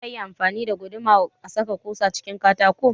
Za a iya amfani da guduma a saka ƙusa cikin katako